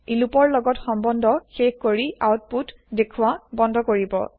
ই loop ৰ লগত সম্বন্ধ শেষ কৰি আউতপুত দেখুৱা বন্ধ কৰিব